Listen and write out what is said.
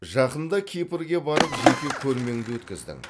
жақында кипрге барып жеке көрмеңді өткіздің